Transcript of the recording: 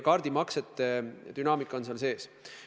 Kaardimaksete dünaamika on seal olemas.